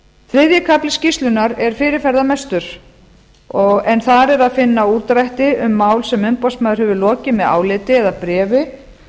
þriðji kafli skýrslunnar er fyrirferðarmestur en þar er að finna útdrætti um mál sem umboðsmaður hefur lokið með áliti eða bréfi